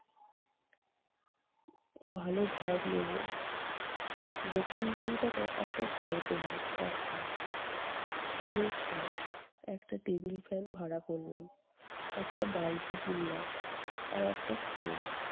ও ভালো ঘর নেবো। দক্ষিণ কলকাতায় একটা ঘর পেলাম সস্তায়। টিনের চাল, একটা table fan ভাড়া করলাম। একটা বালতি কিনলাম। আর একটা stove